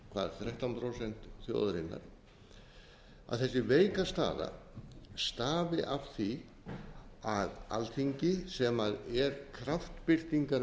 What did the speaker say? trausts þrettán prósent þjóðarinnar að þessi veika staða stafi af því að alþingi sem er